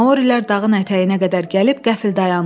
Maorilər dağın ətəyinə qədər gəlib qəfl dayandılar.